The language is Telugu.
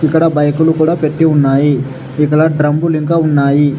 ఇక్కడ బైకులు కూడా పెట్టి ఉన్నాయి ఇక్కడ డ్రమ్ములు ఇంకా ఉన్నాయి.